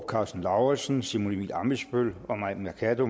karsten lauritzen simon emil ammitzbøll og mai mercado